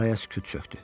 Araya sükut çökdü.